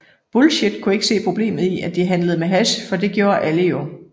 Bullshit kunne ikke se problemet i at de handlede med hash fordi det gjorde alle jo